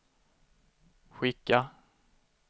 skicka